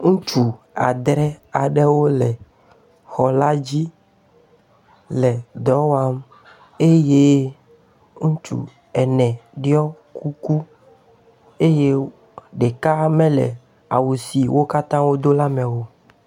Ŋutsu adre aɖewo le xɔ la dzi le dɔwɔm eye ŋutsu ene ɖɔ kuku eye ɖeka mele awu si wo katã wodo la me o.